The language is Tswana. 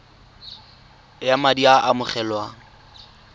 ya madi a a amogelwang